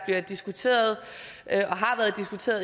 været diskuteret